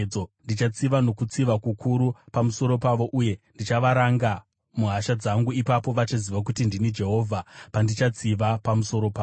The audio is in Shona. Ndichatsiva nokutsiva kukuru pamusoro pavo uye ndichavaranga muhasha dzangu. Ipapo vachaziva kuti ndini Jehovha, pandichatsiva pamusoro pavo.’ ”